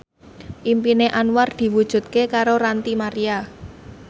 impine Anwar diwujudke karo Ranty Maria